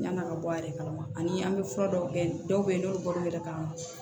Yann'a ka bɔ a yɛrɛ kalama ani an bɛ fura dɔw kɛ dɔw bɛ yen n'olu bɔra o yɛrɛ kama